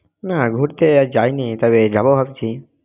না, ঘুরতে আর যাইনি তবে যাব ভাবছি!